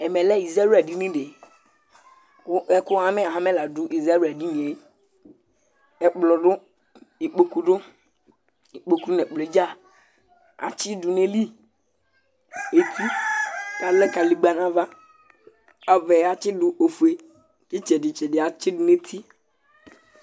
Ɛmɛlɛ izawla dìní di kʋ ɛkʋ hamɛ hamɛ la du izawla dìní ye Ɛkplɔ du, ikpoku du Ikpoku nʋ ɛkplɔ dza atsi du ayìlí eti kʋ alɛ kaligba nʋ ava Ava yɛ atsi du ɔfʋe Itsɛdi tsɛdi yɛ atsidu nʋ eti